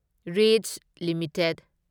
reach limited